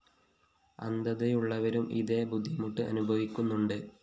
അന്ധതയുള്ളവരും ഇതെ ബുദ്ധിമുട്ട് അനുഭവിക്കുന്നുണ്ട്